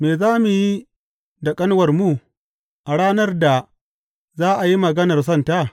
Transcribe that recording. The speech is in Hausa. Me za mu yi da ƙanuwarmu a ranar da za a yi maganar sonta?